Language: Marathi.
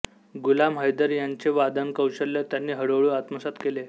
गुलाम हैदर यांचे वादनकौशल्य त्यांनी हळूहळू आत्मसात केले